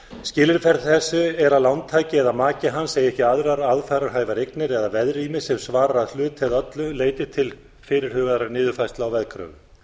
skilyrði fyrir þessu er að lántaki eða maki hans eigi ekki aðrar aðfararhæfar eignir eða veðrými sem svarar að hluta eða öllu leyti til fyrirhugaðrar niðurfærslu á veðkröfum